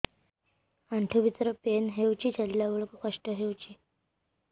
ଆଣ୍ଠୁ ଭିତରେ ପେନ୍ ହଉଚି ଚାଲିଲା ବେଳକୁ କଷ୍ଟ ହଉଚି